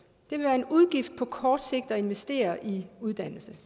vil være en udgift på kort sigt at investere i uddannelse